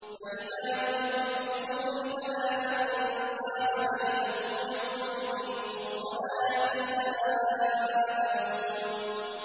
فَإِذَا نُفِخَ فِي الصُّورِ فَلَا أَنسَابَ بَيْنَهُمْ يَوْمَئِذٍ وَلَا يَتَسَاءَلُونَ